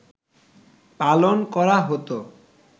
পালন করা হত